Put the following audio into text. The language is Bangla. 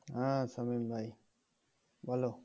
হ্যাঁ সামিম ভাই বল"